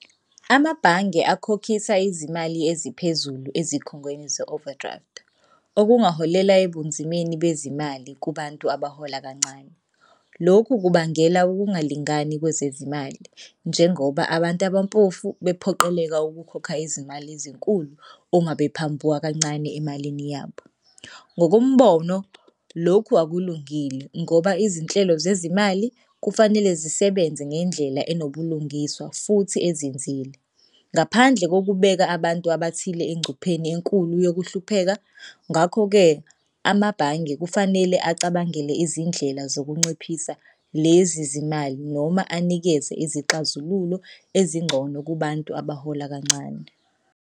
Amabhange akhokhisa izimali eziphezulu ezikhungweni ze-overdraft, okungaholela ebunzimeni bezimali kubantu abahola kancane. Lokhu kubangela ukungalingani kwezezimali njengoba abantu abampofu bephoqeleka ukukhokha izimali ezinkulu uma bephambuka kancane emalini yabo. Ngokombono, lokhu akulungile ngoba izinhlelo zezimali kufanele zisebenze ngendlela enobulungiswa futhi ezinzile ngaphandle kokubeka abantu abathile engcupheni enkulu yokuhlupheka. Ngakho-ke amabhange kufanele acabangele izindlela zokunciphisa lezi zimali noma anikeze izixazululo ezingcono kubantu abahola kancane.